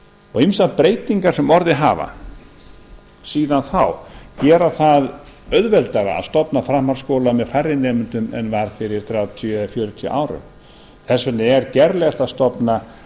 og ýmsar breytingar sem orðið hafa síðan þá gera það auðveldara að stofna framhaldsskóla með færri nemendum en var fyrir þrjátíu eða fjörutíu árum þess vegna er gerlegt að stofna